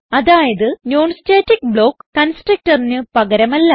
അതായത് non static block constructorന് പകരമല്ല